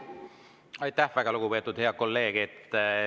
Aitäh, väga lugupeetud ja hea kolleeg!